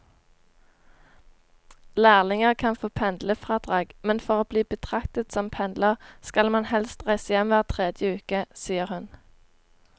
Lærlinger kan få pendlerfradrag, men for å bli betraktet som pendler skal man helst reise hjem hver tredje uke, sier hun.